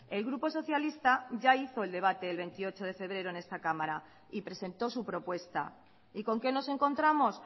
el grupo socialista ya hizo el debate el veintiocho de febrero en esta cámara y presentó su propuesta y con qué nos encontramos